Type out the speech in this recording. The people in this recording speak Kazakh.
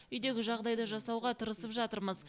үйдегі жағдайды жасауға тырысып жатырмыз